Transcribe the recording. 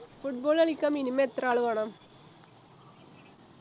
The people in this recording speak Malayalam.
football കളിക്കാൻ minimum എത്ര ആൾ വേണം